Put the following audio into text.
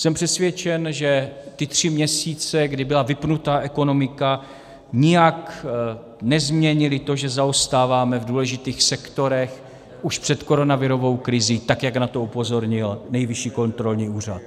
Jsem přesvědčen, že ty tři měsíce, kdy byla vypnutá ekonomika, nijak nezměnily to, že zaostáváme v důležitých sektorech už před koronavirovou krizí, tak jak na to upozornil Nejvyšší kontrolní úřad.